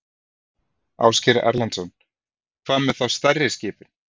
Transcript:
Ásgeir Erlendsson: Hvað með þá stærri skipin?